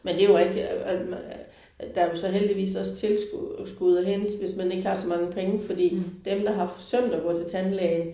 Men det er jo rigtigt øh. Der er jo så heldigvis også tilskud skud at hente hvis man ikke har så mange penge fordi dem der har forsømt at gå til tandlægen